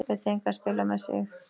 Lét engan spila með sig.